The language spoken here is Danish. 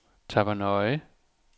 Tappernøje